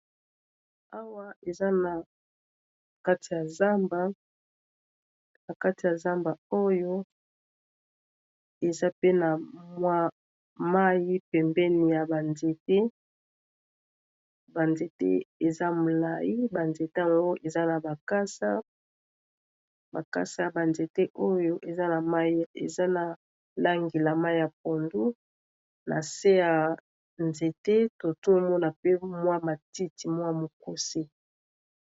Awa eza na kati ya zamba, na kati ya zamba oyo eza pe na mwa mayi pembeni ya ba nzete .ba nzete eza molayi, ba nzete ango eza na bakasa , bakasa ya ba nzete oyo eza na mayi eza na langi la mayi ya pondo na se ya nzete totomona pe mwa matiti mwa mukuse.